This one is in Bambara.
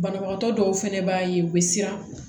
Banabagatɔ dɔw fɛnɛ b'a ye u bɛ siran